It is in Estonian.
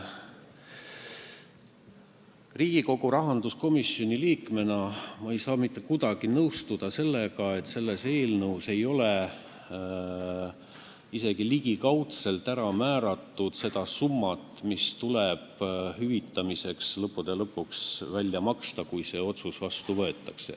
Riigikogu rahanduskomisjoni liikmena ma ei saa mitte kuidagi nõustuda sellega, et eelnõus ei ole isegi ligikaudselt määratud summat, mis tuleb hüvitamiseks lõppude lõpuks välja maksta, kui see otsus vastu võetakse.